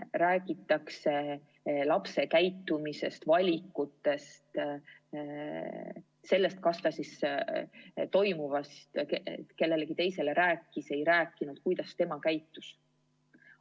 Räägitakse lapse käitumisest, valikutest, sellest, kas ta toimuvast kellelegi rääkis või ei rääkinud, kuidas tema käitus.